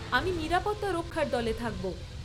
আমি নিরাপত্তা রক্ষার দলে থাকব।